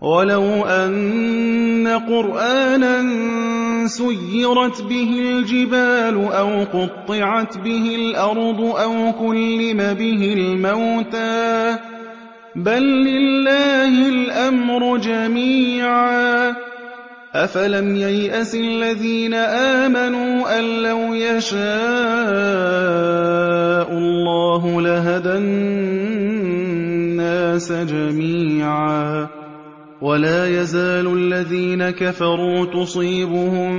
وَلَوْ أَنَّ قُرْآنًا سُيِّرَتْ بِهِ الْجِبَالُ أَوْ قُطِّعَتْ بِهِ الْأَرْضُ أَوْ كُلِّمَ بِهِ الْمَوْتَىٰ ۗ بَل لِّلَّهِ الْأَمْرُ جَمِيعًا ۗ أَفَلَمْ يَيْأَسِ الَّذِينَ آمَنُوا أَن لَّوْ يَشَاءُ اللَّهُ لَهَدَى النَّاسَ جَمِيعًا ۗ وَلَا يَزَالُ الَّذِينَ كَفَرُوا تُصِيبُهُم